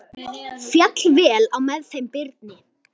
Féll vel á með þeim Birni.